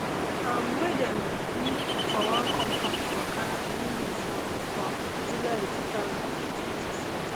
um wey dem do do for one compound for khan younis um for july two thousand and twenty-four